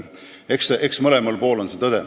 Eks tõde ole mõlemal pool.